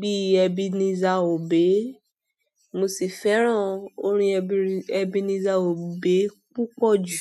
bí i Ebenezer Obey, mo sì fẹ́ràn orin Ebenezer Obey púpọ̀ jù.